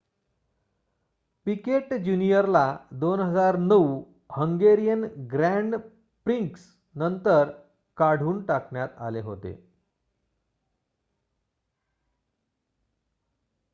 पीकेट जूनियरला 2009 Hungarian Grand Prix नंतर काढून टाकण्यात आले होते